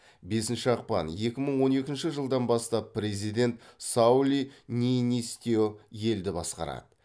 бесінші ақпан екі мың он екінші жылдан бастап президент саули нийнисте елді басқарады